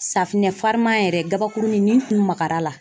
farima yɛrɛ kabakurunin ni n kun magara la